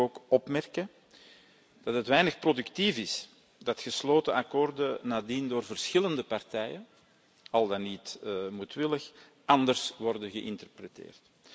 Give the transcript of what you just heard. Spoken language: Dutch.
Verder wil ik ook opmerken dat het weinig productief is dat gesloten akkoorden nadien door verschillende partijen, al dan niet moedwillig, anders worden geïnterpreteerd.